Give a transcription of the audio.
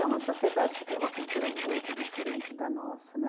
É uma sociedade que tem uma cultura muito diferente da nossa né.